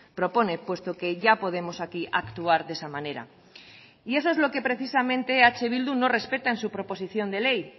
propone puesto que ya podemos aquí actuar de esa manera y eso es lo que precisamente eh bildu no respeta en su proposición de ley